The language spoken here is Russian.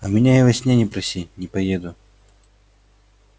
а меня и во сне не проси не поеду